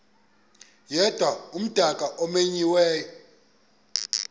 yedwa umdaka omenyiweyo